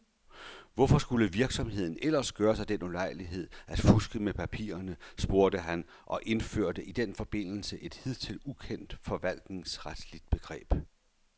Hvorfor skulle virksomheden ellers gøre sig den ulejlighed at fuske med papirerne, spurgte han og indførte i den forbindelse et hidtil ukendt forvaltningsretligt begreb.